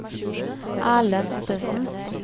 Erlend Ottesen